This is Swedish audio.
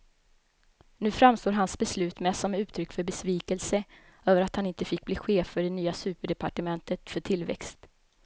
Nu framstår hans beslut mest som uttryck för besvikelse över att han inte fick bli chef för det nya superdepartementet för tillväxt.